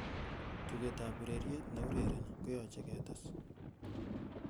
tuget ab ureryet neurereni koyoche ketes